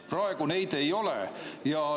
Praegu neid ei ole.